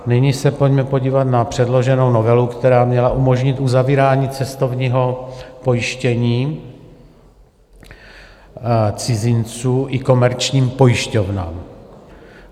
Nyní se pojďme podívat na předloženou novelu, která měla umožnit uzavírání cestovního pojištění cizinců i komerčním pojišťovnám.